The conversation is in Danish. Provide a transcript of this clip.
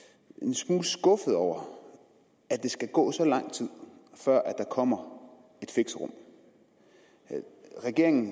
smule skuffet over at der skal gå så lang tid før der kommer et fixerum regeringen